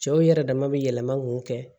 Cɛw yɛrɛ dama bɛ yɛlɛma k'o kɛ